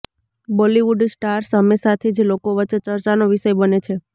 Bollywood stars હંમેશાથી જ લોકો વચ્ચે ચર્ચાનો વિષય બને છે